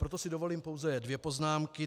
Proto si dovolím pouze dvě poznámky.